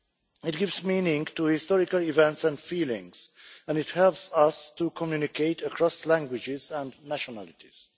It gives meaning to historical events and feelings, and it helps us to communicate across languages and nationalities.